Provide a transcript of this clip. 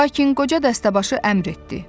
Lakin qoca dəstəbaşı əmr etdi.